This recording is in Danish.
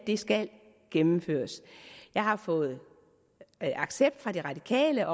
skal gennemføres jeg har fået accept fra de radikale af